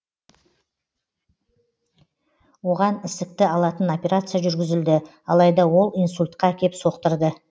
оған ісікті алатын операция жүргізілді алайда ол инсультқа әкеп соқтырды